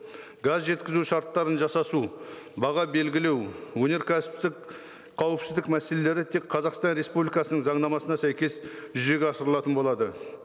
газ жеткізу шарттарын жасасу баға белгілеу өнеркәсіптік қауіпсіздік мәселелері тек қазақстан республикасының заңнамасына сәйкес жүзеге асырылатын болады